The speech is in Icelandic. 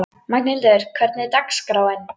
Magnhildur, hvernig er dagskráin?